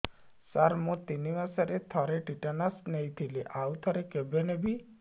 ସାର ମୁଁ ତିନି ମାସରେ ଥରେ ଟିଟାନସ ନେଇଥିଲି ଆଉ ଥରେ କେବେ ନେବି